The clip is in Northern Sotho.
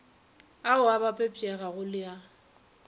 ao a bapetpegago le a